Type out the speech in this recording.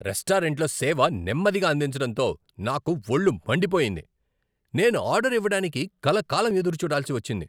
రెస్టారెంట్లో సేవ నెమ్మదిగా అందించడంతో నాకు వొళ్ళు మండిపోయింది! నేను ఆర్డర్ ఇవ్వడానికి కలకాలం ఎదురుచూడాల్సి వచ్చింది.